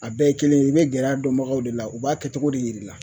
A bɛɛ ye kelen ye i bɛ gɛrɛ a dɔnbagaw de la u b'a kɛcogo de yir'i la